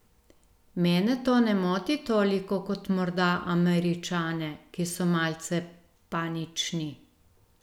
Mene to ne moti toliko kot morda Američane, ki so malce panični.